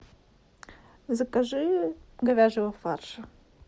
закажи говяжьего фарша